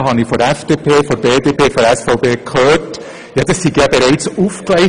Dort habe ich von der FDP, der BDP und der SVP gehört, das sei ja bereits «aufgegleist».